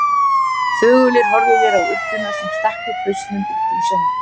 Þögulir horfðu þeir á urtuna, sem stakk upp hausnum úti í sjónum.